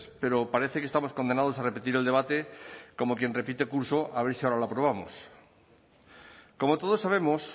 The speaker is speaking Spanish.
pero parece que estamos condenados a repetir el debate como quien repite curso a ver si ahora lo aprobamos como todos sabemos